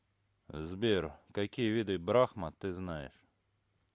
сбер какие виды брахма ты знаешь